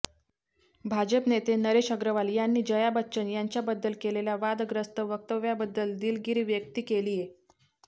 भाजप नेते नरेश अग्रवाल यांनी जया बच्चन यांच्याबद्दल केलेल्या वादग्रस्त वक्तव्याबद्दल दिलगिरी व्यक्ती केलीये